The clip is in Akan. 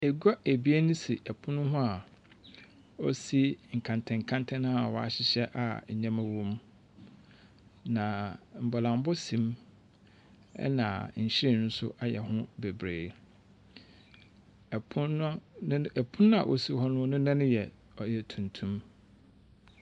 Agua ebien si pono ho a osi nkantɛnkantɛn a wɔahyehyɛ a nneɛma wom, na mbolambɔ sim, ɛnna nhwiren nso ayɛ hɔ bebree. Pono ne n ɔpono a osi hɔ no ne nan no yɛ ɔyɛ tuntum.